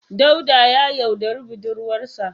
Dauda ya yaudari budurwarsa.